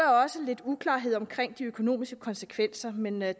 også lidt uklarhed omkring de økonomiske konsekvenser men jeg